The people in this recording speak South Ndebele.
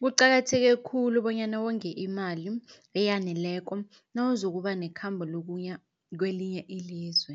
Kuqakatheke khulu bonyana wonge imali eyaneleko nawuzokuba nekhambo lokuya kwelinye ilizwe.